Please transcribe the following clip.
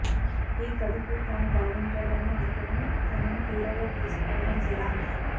ఈ కథకు తను బాగుంటాడని అనుకోని తనని హీరోగా తీసుకోవడం జరిగింది